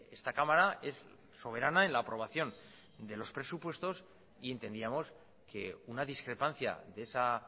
esta cámara es soberana en la aprobación de los presupuestos y entendíamos que una discrepancia de esa